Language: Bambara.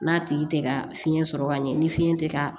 N'a tigi tɛ ka fiɲɛ sɔrɔ ka ɲɛ ni fiɲɛ tɛ ka